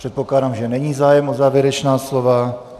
Předpokládám, že není zájem o závěrečná slova.